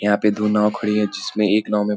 यहाँ पे दो नाव खड़ी है जिसमें एक नाव में --